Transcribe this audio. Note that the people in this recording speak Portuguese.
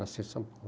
Nasci em São Paulo.